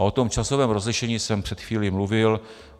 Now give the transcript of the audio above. A o tom časovém rozlišení jsem před chvílí mluvil.